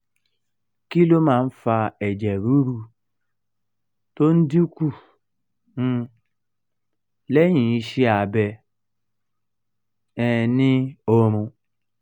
kí ló máa ń fa ẹ̀jẹ̀ ruru tó ń dín kù um lẹ́yìn iṣẹ́ abẹ um ni orun?